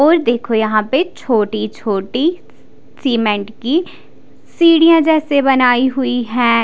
और देखो यहाँ पे छोटी छोटी सीमेंट की सीढ़ियां जैसे बनाई हुई है।